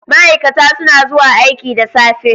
Ma'aikata suna zuwa aiki da safe.